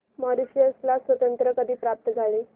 Mauritius ला स्वातंत्र्य कधी प्राप्त झाले